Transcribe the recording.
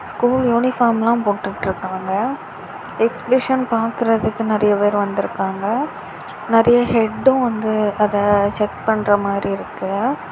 School யூனிபார்ம்லாம் போட்டுட்டு இருக்காங்க. எக்ஸிபிஷன் பாக்குறதுக்கு நறைய பேர் வந்துருக்காங்க. நறைய ஹெட்டும் வந்து அதை செக் பண்ற மாதிரி இருக்கு.